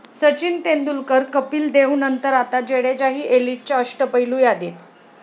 सचिन तेंडुलकर, कपिल देवनंतर आता जडेजाही एलिटच्या अष्टपैलू यादीत!